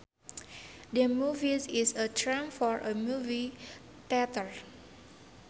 The movies is a term for a movie theater